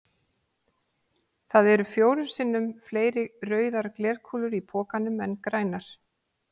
Það eru fjórum sinnum fleiri rauðar glerkúlur í pokanum en grænar.